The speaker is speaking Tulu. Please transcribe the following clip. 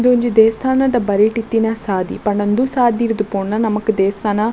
ಉಂದು ಒಂಜಿ ದೇವಸ್ಥಾನದ ಬರಿಟ್ ಇತ್ತಿನ ಸಾದಿ ಪಂಡ ಉಂದು ಸಾದಿರ್ದ್ ಪೋಂಡ ನಮಕ್ ದೇವಸ್ಥಾನ --